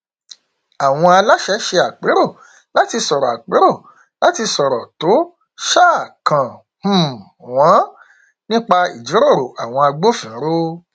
àwọn aláṣẹ ṣe àpérò láti sọrọ àpérò láti sọrọ tó um kàn um wọn nípa ìjíròrò àwọn agbófinró